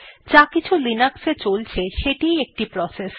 যাকিছু Linux এ চলছে সেটিই একটি প্রসেস